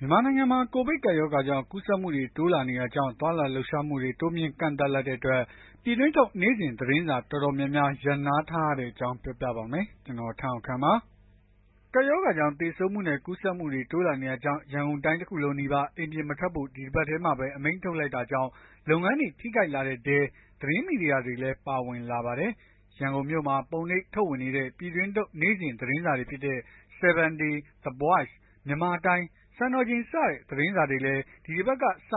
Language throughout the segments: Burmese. မြန်မာနိုင်ငံမှာ ကိုဗစ်ကပ်ရောဂါ ကူးစက်မှုတွေ တိုးလာနေတာကြောင့် သွားလာလှုပ်ရှားမှုတွေ တိုးမြှင့်ကန့်သတ်လိုက်တဲ့အတွက် ပြည်တွင်းထုတ် နေ့စဉ်သတင်းစာ တော်တော်များများ ရပ်နားထားရတဲ့အကြောင်းကို ဗွီအိုအေမြန်မာပိုင်းသတင်းထောက် ကိုထက်အောင်ခန့်က ပြောပြပါမယ်။ ကပ်ရောဂါကြောင့် သေဆုံးမှုတွေနဲ့ ကူးစက်မှုတွေ တိုးလာနေတာကြောင့် ရန်ကုန်တိုင်းတခုလုံးနီးပါး အိမ်ပြင်မထွက်ဖို့ ဒီတပတ်ထဲမှာပဲ အမိန့်ထုတ်လိုက်တာကြောင့် လုပ်ငန်းတွေ ထိခိုက်လာတဲ့အထဲ သတင်းမီဒီယာတွေလည်း ပါဝင်လာပါတယ်။ ရန်ကုန်မြို့မှာ ပုံနှိပ်ထုတ်ဝေနေတဲ့ ပြည်တွင်းထုတ် နေ့စဉ်သတင်းစာတွေဖြစ်တဲ့ 7Day, The Voice, Myanmar Time, စံတော်ချိန်စတဲ့ သတင်းစာတွေလည်း ဒီတပတ်ကစ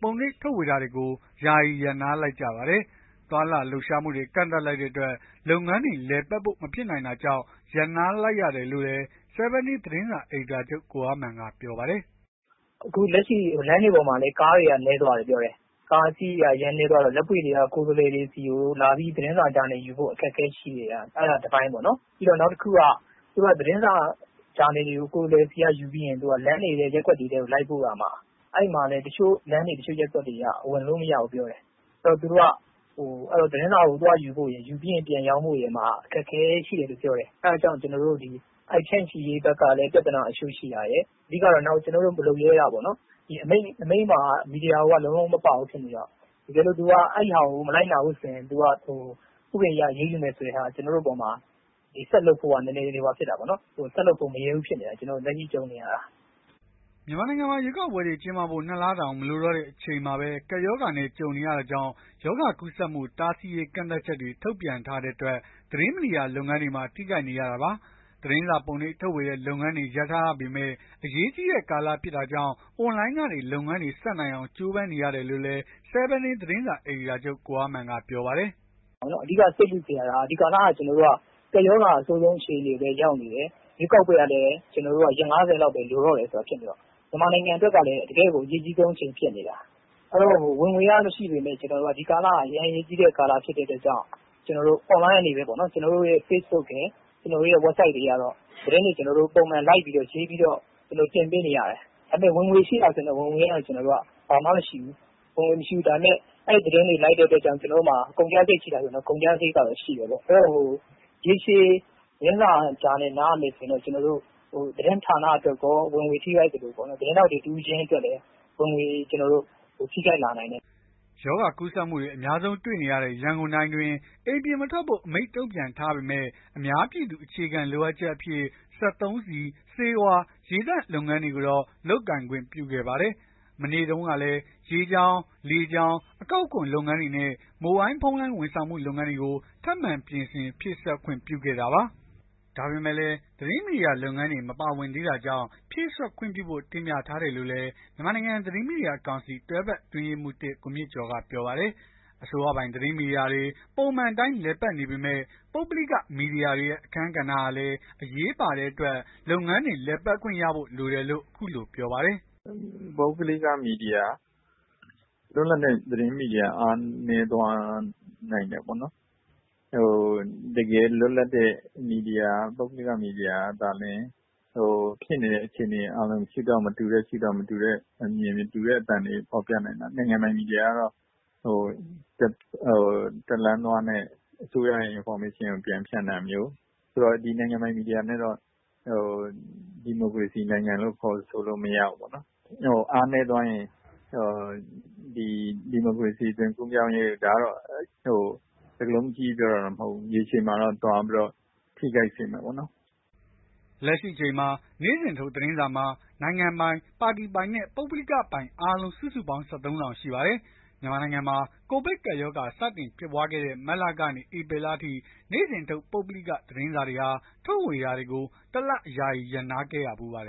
ပုံနှိပ်ထုတ်ဝေတာတွေကို ယာယီရပ်နားလိုက်ကြပါတယ်။ သွားလာလှုပ်ရှားမှုတွေ ကန့်သတ်လိုက်တဲ့အတွက် လုပ်ငန်းတွေ လည်ပတ်ဖို့ မဖြစ်နိုင်တာကြောင့် ရပ်နားလိုက်ရတာလို့လည်း 7 Day သတင်းစာ အယ်ဒီတာချုပ် ကိုအားမာန်က ပြောပါတယ်။ “အခုလက်ရှိ လမ်းတွေပေါ်မှာ ကားတွေနည်းသွားတယ်။ ကားအစီးရေ အရမ်းနည်းသွားတော့ လက်ပွေ့တွေက ကိုယ်စားလှယ်တွေဆီကို သတင်းစာဂျာနယ်ယူဖို့ အခက်အခဲရှိနေတာ။ အဲ့ဒါ တပိုင်းပေါ့ နောက်တခုက သတင်းစာ ဂျာနယ်တွေကို ကိုယ်စားလှယ်တွေဆီက ယူပြီး လမ်းတွေ၊ ရပ်ကွက်တွေထဲကို လိုက်ပို့ရမှာ အဲ့မှာလည်း တချို့လမ်းတွေ ရပ်ကွက်တွေက ဝင်လို့မရဘူးပြောတယ်။ အဲ့တော့ သတင်းစာကို သွားယူဖို့ရယ် ပြန်ရောင်းဖို့ရယ်မှာ အခက်အခဲတွေ ရှိတယ်ပြောတယ်။ အဲ့ဒီဖြန့်ချိရေးဘက်မှာလည်း ပြဿနာတချို့ ရှိတာရယ်။ နောက်တခုက အမိန့်မှာ မီဒီယာကို လုံးလုံးမပါဘူးဖြစ်နေတယ်။ တကယ်လို့ အဲ့ဒီဟာကို မလိုက်နာဘူးဆိုရင် ဥပဒေအရ အရေးယူမယ်ဆိုတဲ့ဟာမှာ ရှေ့ဆက်လုပ်ဖို့ဟာ ဆက်လုပ်ဖို့ မရဲဘူးဖြစ်နေတာပေါ့။” မြန်မာနိုင်ငံမှာ ရွေးကောက်ပွဲတွေ ကျင်းပဖို့ ၂ လတောင် မလိုတော့တဲ့ အချိန်မှာပဲ ကပ်ရောဂါနဲ့ ကြုံနေရတာကြောင့် ရောဂါကူးစက်မှု တားဆီးရေး ကန့်သတ်ချက်တွေ ထုတ်ပြန်ထားတဲ့အတွက် သတင်းမီဒီယာလုပ်ငန်းတွေမှာ ထိခိုက်နေရတာပါ။ သတင်းစာပုံနှိပ်ထုတ်ဝေတဲ့ လုပ်ငန်းတွေ ရပ်ထားရပေမဲ့ အရေးကြီးတဲ့ ကာလဖြစ်တာကြောင့် အွန်လိုင်းကနေ လုပ်ငန်းတွေ ဆက်နိုင်အောင် ကြိုးပမ်းနေရတယ်လို့လည်း 7 Day သတင်းစာ အယ်ဒီတာချုပ် ကိုအားမာန်က ပြောပါတယ်။ “အဓိက စိတ်ပူနေရတာကို ဒီကာလက ကပ်ရောဂါ အဆိုးဆုံး အခြေအနေကို ရောက်နေတယ်။ ရွေးကောက်ပွဲ လုပ်ဖို့ကလည်း ရက် ၅၀ လောက်ပဲ လိုတော့တယ်။ မြန်မာနိုင်ငံအတွက်ကလည်း တကယ့်ကို အရေးကြီးဆုံး အချိန်ဖြစ်နေတာ။ ဝင်ငွေက မရှိပေမဲ့ ဒီကာလက အရေးကြီးဆုံး အချိန်ဖြစ်နေတဲ့အတွက်ကြောင့် အွန်လိုင်း ကနေပဲ ကျနော်တို့ရဲ့ Facebook ရယ်၊ ကျနော်တို့ Website ရယ်ကနေ သတင်းတွေ ပုံမှန် လိုက်ပြီးတော့ ရေးပြီးတော့ တင်ပေးနေရတယ်။ ဝင်ငွေရှိလားဆိုရင် ကျနော်တို့ ဝင်ငွေက ဘာမှမရှိဘူး။ အဲ့သတင်းတွေ လိုက်နေရတဲ့အတွက်ကြောင့် ကျနော်တို့မှာ ကုန်ကျစရိတ်ရှိတယ်။ ရေရှည် သတင်းစာ ဂျာနယ် နားရမယ်ဆိုရင်တော့ သတင်းဌာနအတွက်ကော ဝင်ငွေ ထိခိုက်သလို သတင်းထောက် တဦးချင်းစီအတွက်လည်း ဝင်ငွေ ထိခိုက်လာနိုင်တယ်။” ရောဂါကူးစက်မှုတွေ အများဆုံး တွေ့နေရတဲ့ ရန်ကုန်တိုင်းအတွင်း အိမ်ပြင်မထွက်ဖို့ အမိန့်ထုတ်ပြန်ထားပေမဲ့ အများပြည်သူ အခြေခံလိုအပ်ချက်အဖြစ် စက်သုံးဆီ၊ ဆေးဝါး ရေသန့် လုပ်ငန်းတွေကိုတော့ လုပ်ကိုင်ခွင့်ပြုခဲ့ပါတယ်။ မနေ့တုန်းကလည်း ရေကြောင်း လေကြောင်း အကောက်ခွန် လုပ်ငန်းတွေနဲ့ မိုဘိုင်းဖုန်းလိုင်း ဝန်ဆောင်မှုလုပ်ငန်းတွေကို ထပ်မံပြင်ဆင်ဖြည့်စွက် ခွင့်ပြုခဲ့တာပါ။ ဒါပေမဲ့လည်း သတင်းမီဒီယာလုပ်ငန်းတွေ မပါဝင်သေးတာကြောင့် ဖြည့်စွက်ခွင့်ပြုဖို့ တင်ပြထားတယ်လို့လည်း မြန်မာနိုင်ငံသတင်းမီဒီယာကောင်စီက တွဲဖက်အတွင်းရေးမှူး ကိုမြင့်ကျော်က ပြောပါတယ်။ အစိုးရပိုင် သတင်းမီဒီယာတွေ ပုံမှန်အတိုင်း လည်ပတ်နေပေမဲ့ ပုဂ္ဂလိက မီဒီယာတွေရဲ့ အခန်းကဏ္ဍဟာလည်း အရေးပါတဲ့အတွက် လုပ်ငန်းတွေ လည်ပတ်ခွင့်ရဖို့ လိုတယ်လို့ အခုလို ပြောပါတယ်။ “ပုဂ္ဂလိက မီဒီယာ လွတ်လပ်တဲ့ သတင်းမီဒီယာ အားနည်းသွားနိုင်တယ်ပေါ့နော်။ တကယ် လွတ်လပ်တဲ့ သတင်းမီဒီယာ ပုဂ္ဂလိက မီဒီယာကသာလျှင် ဖြစ်နေတဲ့ အခြေအနေကို မတူတဲ့ ရှုထောင့် မတူတဲ့ အမြင် မတူတဲ့ အသံတွေ ဖော်ပြနိုင်တာ။ နိုင်ငံပိုင်မီဒီယာကတော့ တလမ်းသွားနဲ့ အစိုးရရဲ့ သတင်းအချက်အလက်ကို ပြန်ဖြန့်တာမျိုး ဒီနိုင်ငံပိုင်မီဒီယာနဲ့တော့ ဒီမိုကရေစီနိုင်ငံလို့ ခေါ်ဆိုလို့မရဘူး။ အားနည်းသွားရင် ဒါကတော့ စကားလုံး အကြီးကြီး ပြောတာတော့မဟုတ်ဘူး။ ရေရှည်မှာတော့ သွားပြီး ထိခိုက်စေမယ့်ပေါ့နော်။” လက်ရှိအချိန်မှာ နေ့စဉ်ထုတ်သတင်းစာမှာ နိုင်ငံပိုင် ပါတီပိုင်နဲ့ ပုဂ္ဂလိက ပိုင်အားလုံး စုစုပေါင်း ၁၃ စောင် ရှိပါတယ်။ မြန်မာနိုင်ငံမှာ ကိုဗစ်ကပ်ရောဂါ စတင်ဖြစ်ပွားတဲ့ မတ်လကနေ ဧပြီလအထိ နေ့စဉ်ထုတ် ပုဂ္ဂလိက သတင်းစာတွေဟာ ထုတ်ဝေတာတွေကို ၁ လ ယာယီရပ်နားခဲ့ရဖူးပါတယ်